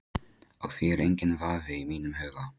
Á því er enginn vafi í mínum huga.